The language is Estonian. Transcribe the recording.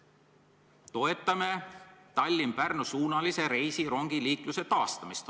"Toetame Tallinna-Pärnu-suunalise reisirongiliikluse taastamist.